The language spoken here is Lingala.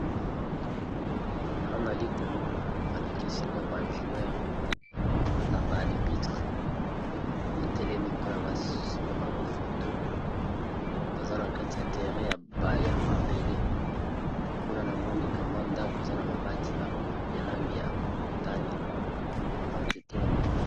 Nazali komona balakisi nga ba joueure na ba albitre batelemi mpona babango foto baza na kati ya terre ya mabele mpe kuna na monika mwa ndako eza na mabati ya langi ya motani na banzete ya milali.